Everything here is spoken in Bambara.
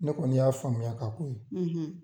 Ne kɔni y'a faamuya ka k'o ye.